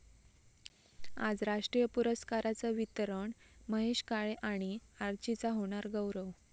आज राष्ट्रीय पुरस्कारांचं वितरण, महेश काळे आणि 'आर्ची'चा होणार गौरव